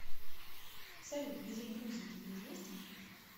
салют язык грузии тебе известен